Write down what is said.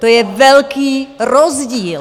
To je velký rozdíl.